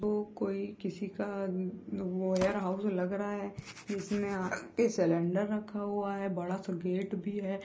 वो कोई किसी का वेयरहाउस लग रहा है जिसमे आगे सिलेंडर रखा हुआ है बड़ा सा गेट भी है ।